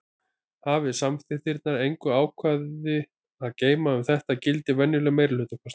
Hafi samþykktirnar engin ákvæði að geyma um þetta gildir venjuleg meirihlutakosning.